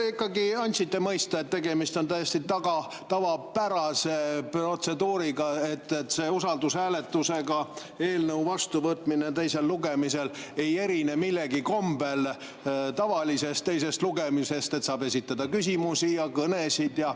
Te ikkagi andsite mõista, et tegemist on täiesti tavapärase protseduuriga, et see usaldushääletusega eelnõude vastu võtmine teisel lugemisel ei erine millegi kombel tavalisest teisest lugemisest, saab esitada küsimusi ja pidada kõnesid.